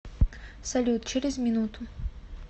салют через минуту